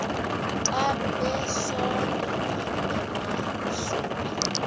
xa besondela emasuie